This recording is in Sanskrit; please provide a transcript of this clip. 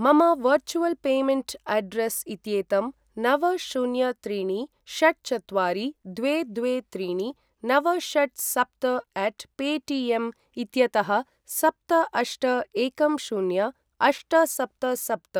मम वर्चुवल् पेमेण्ट् अड्रेस् इत्येतं नव शून्य त्रीणि षट् चत्वारि द्वे द्वे त्रीणि नव षट् सप्त अट् पेटिऎम् इत्यतःसप्त अष्ट एकं शून्य अष्ट सप्त सप्त